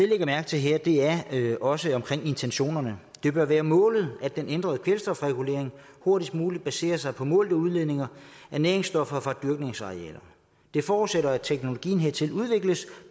lægger mærke til her er også intentionerne det bør være målet at den ændrede kvælstofregulering hurtigst muligt baserer sig på målte udledninger af næringsstoffer fra dyrkningsarealerne det forudsætter at teknologien hertil udvikles